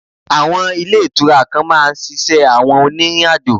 Àwọn Ilé Ìtura kan máa ṣiṣẹ́ àwọn onírìnàjò